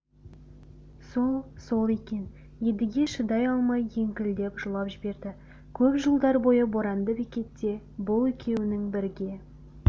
сол-сол екен едіге шыдай алмай еңкілдеп жылап жіберді көп жылдар бойы боранды бекетте бұл екеуінің бірге